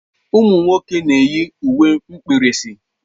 Ụmụ nwoke na-eyi uwe mkpirisi.